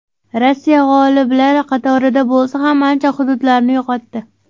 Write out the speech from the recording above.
Rossiya g‘oliblar qatorida bo‘lsa ham, ancha hududlarini yo‘qotdi.